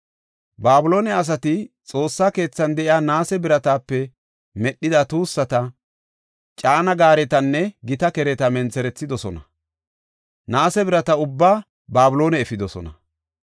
Babiloone asati Xoossa keethan de7iya naase biratape medhida tuussata, caana gaaretanne gita kereta mentherethidosona; naase birata ubbaa Babiloone efidosona.